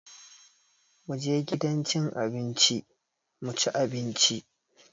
Mu je gidan cin abinci mu ci abinci!